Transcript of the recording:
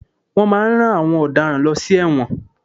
Wọ́n máà ń rán àwọn ọ̀daràn lọ sí ẹ̀wọ̀n.